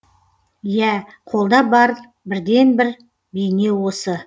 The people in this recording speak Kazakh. иә қолда бар бірден бір бейне осы